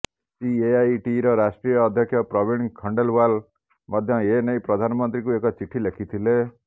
ସିଏଆଇଟିର ରାଷ୍ଟ୍ରୀୟ ଅଧ୍ୟକ୍ଷ ପ୍ରବୀଣ ଖଣ୍ଡେଲୱାଲ୍ ମଧ୍ୟ ଏ ନେଇ ପ୍ରଧାନମନ୍ତ୍ରୀଙ୍କୁ ଏକ ଚିଠି ଲେଖିଥିଲେ